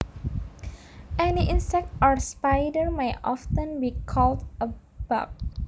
Any insect or spider may often be called a bug